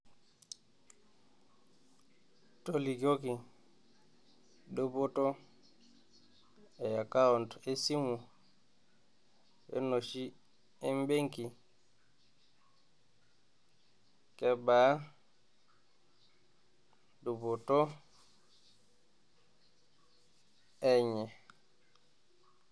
Tolikioki dupoto e akaont esimu o enoshi e mbenki? kebaa dupoto enye ?